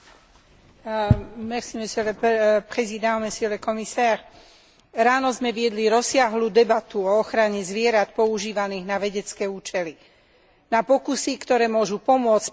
Ráno sme viedli rozsiahlu debatu o ochrane zvierat používaných na vedecké účely, na pokusy, ktoré môžu pomôcť pri objavovaní a liečení závažných ochorení, ktorými trpia ľudia.